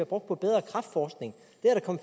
brugt på bedre kræftforskning